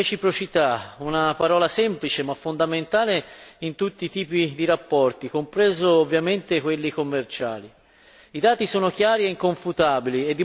Per una volta finalmente sentiamo parlare di reciprocità, una parola semplice ma fondamentale per tutti i tipi di rapporti, compresi ovviamente quelli commerciali.